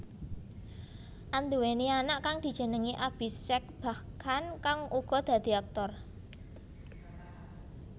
Anduwèni anak kang dijenengi Abhishek Bachchan kang uga dadi aktor